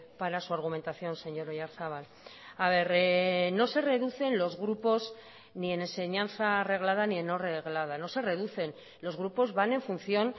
para su argumentación señor oyarzabal no se reducen los grupos ni en enseñanza reglada ni en no reglada no se reducen los grupos van en función